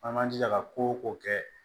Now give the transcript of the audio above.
An man jija ka ko o ko kɛ